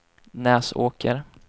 Näsåker